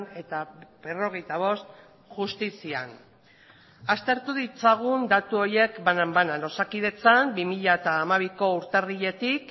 eta berrogeita bost justizian aztertu ditzagun datu horiek banan banan osakidetzan bi mila hamabiko urtarriletik